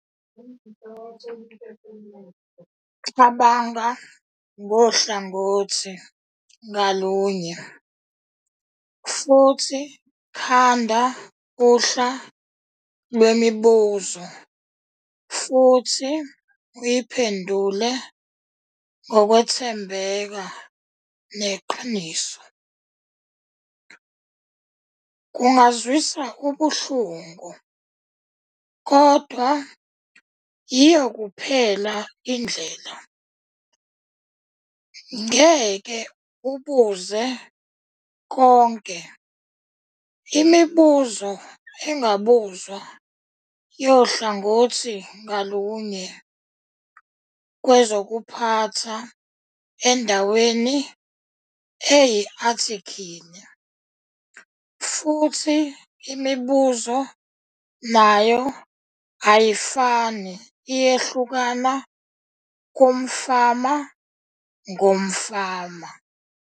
Cabanga ngohlangothi ngalunye futhi khanda uhla lwemibuzo futhi uyiphendule ngokwethembeka neqiniso. Kungazwisa ubuhlungu kodwa yiyo kuphela indlela. Ngeke ubuze konke imibuzo engabuzwa yohlangothi ngalunye lwezokuphatha endaweni eyi-athikhili futhi imibuzo nayo ayifani iyehlukana kumfama ngomfama.